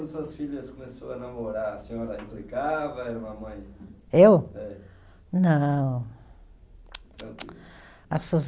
Suas filhas começou a namorar, a senhora implicava, era uma mãe? Eu? É. Não, tsc tsc tsc.